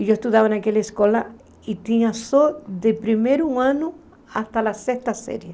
E eu estudava naquela escola e tinha só de primeiro ano até a sexta série.